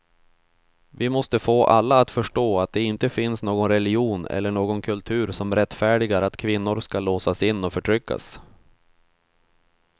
Vi måste få alla att förstå att det inte finns någon religion eller någon kultur som rättfärdigar att kvinnor ska låsas in och förtryckas.